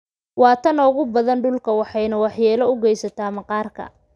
UVA waa tan ugu badan dhulka, waxayna waxyeello u geysataa maqaarka.